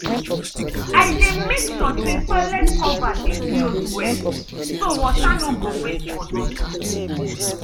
i dey make sure say toilet cover dey close well so water no go waste for nothing.